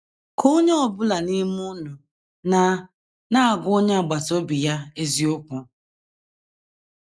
“ Ka onye ọ bụla n’ime unu na - na - agwa onye agbata obi ya eziokwu. ”